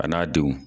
A n'a denw